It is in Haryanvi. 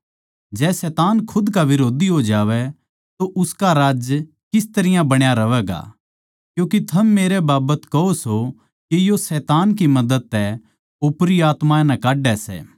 जै शैतान खुद का बिरोधी हो जावै तो उसका राज्य किस तरियां बण्या रहवैगा क्यूँके थम मेरै बाबत कहो सो के यो शैतान की मदद तै ओपरी आत्मायाँ नै काड्डै सै